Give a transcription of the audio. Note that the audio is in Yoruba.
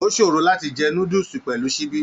O sòrò láti jẹ núdúsí pẹlú síbi.